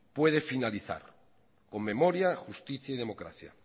puede finalizar con memoria justicia y democracia